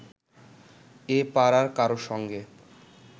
এ পাড়ার কারও সঙ্গে